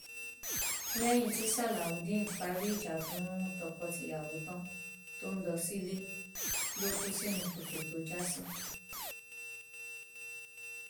lẹyìn tí salaudeen parí ìjà fún tọkọtìyàwó tán tó ń lọ sílé ló kù sínú kòtò tó já sí